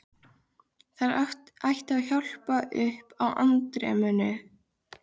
Þær ættu að hjálpa upp á andremmuna.